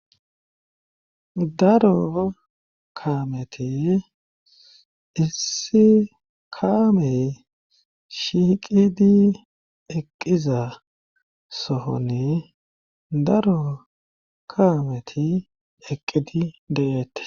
daro kaameti issi kaamey shiiqidi eqqiza sohone daro kaameti eqqidi de7ette